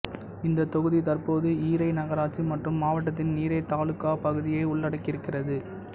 இந்த தொகுதி தற்போது ஹுரை நகராட்சி மற்றும் மாவட்டத்தின் ஹுரை தாலுகா பகுதியை உள்ளடக்கியிருக்கிறது